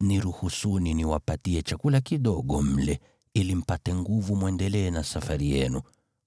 Niruhusuni niwapatie chakula kidogo mle, ili mpate nguvu mwendelee na safari yenu,